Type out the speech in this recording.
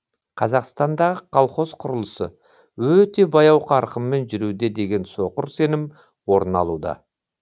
қазақстандағы колхоз құрылысы өте баяу қарқынмен жүруде деген соқыр сенім орын алуда